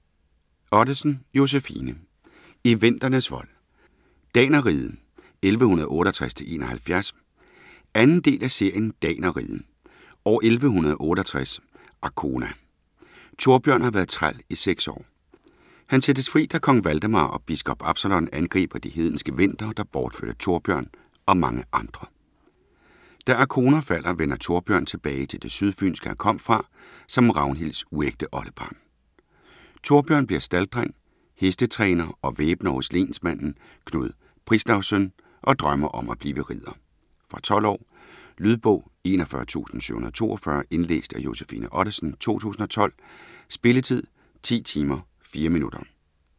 Ottesen, Josefine: I vendernes vold: Danerriget 1168-71 2. del af serien Danerriget. År 1168, Arkona. Thorbjørn har været træl i 6 år. Han sættes fri da Kong Valdemar og biskop Absalon angriber de hedenske vendere der bortførte Thorbjørn og mange andre. Da Arkona falder vender Thorbjørn tilbage til det sydfynske han kom fra, som Ragnhilds uægte oldebarn. Thorbjørn bliver stalddreng, hestetræner og væbner hos lensmanden Knud Prizlavsøn, og drømmer om at blive ridder. Fra 12 år. Lydbog 41742 Indlæst af Josefine Ottesen, 2012. Spilletid: 10 timer, 4 minutter.